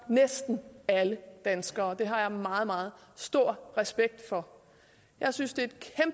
næsten alle danskere og det har jeg meget meget stor respekt for jeg synes det